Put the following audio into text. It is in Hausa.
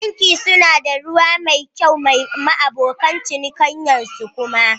Banki suna da Ruwan sha mai kyau ma abokan cinikayyan su kuma